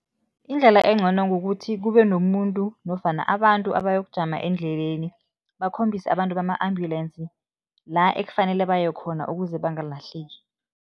Indlela engcono kukuthi kube nomuntu nofana abantu abayokujama endleleni, bakhombise abantu bama-ambulensi la ekufanele baye khona ukuze bangalahleki.